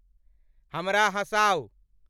हमरा हँसाउ